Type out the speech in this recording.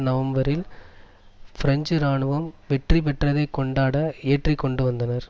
நவம்பரில் பிரெஞ்சு இராணுவம் வெற்றி பெற்றதைக் கொண்டாட ஏற்றி கொண்டுவந்தனர்